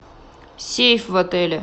сейф в отеле